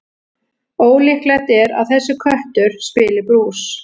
Ólíklegt er að þessi köttur spili brús.